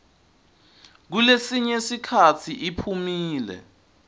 kulesinye sikhatsi iphumile